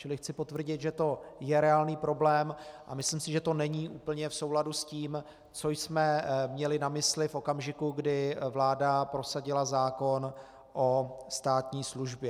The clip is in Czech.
Čili chci potvrdit, že to je reálný problém, a myslím si, že to není úplně v souladu s tím, co jsme měli na mysli v okamžiku, kdy vláda prosadila zákon o státní službě.